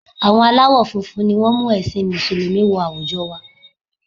Àwọn aláwọ̀ funfun ni wọ́n mú ẹ̀sìn Mùsùlùmí wọ àwùjọ wa